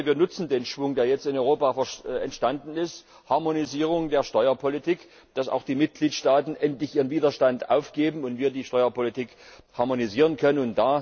Ich hoffe, wir nutzen den Schwung, der jetzt in Europa entstanden ist Harmonisierung der Steuerpolitik damit auch die Mitgliedstaaten endlich ihren Widerstand aufgeben und wir die Steuerpolitik harmonisieren können.